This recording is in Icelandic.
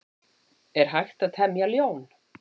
Er hægt að temja ljón?